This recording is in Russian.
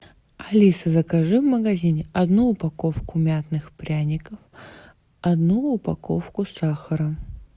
алиса закажи в магазине одну упаковку мятных пряников одну упаковку сахара